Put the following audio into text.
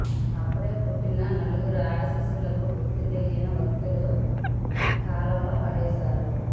అప్పుడే పుట్టిన నలుగురు ఆడ శిశువులను గుర్తుతెలియని వ్యక్తులు కాల్వలో పడేశారు